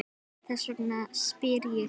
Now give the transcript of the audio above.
Þess vegna spyr ég þig.